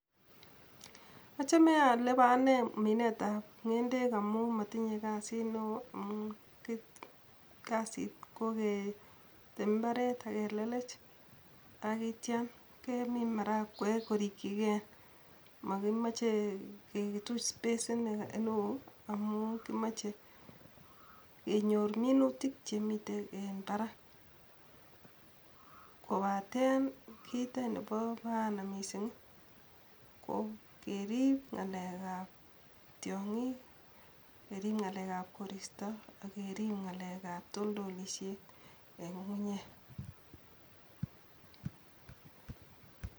Ochome elebo anee minet ab ngende amuu motinyee kasit neo amu kasit koketem imbaaret ak kelelech, ak ityoo kemin maragwek korikii gee mokimoche kituche space neo amun kimoche kenyor minutik chemiten en barak, kobaten kii any nebo raani missing kokerib ngalek ab tyongik, kerib ngalek koristo ak kerib ngale ab toltolisyet en ngungunyek.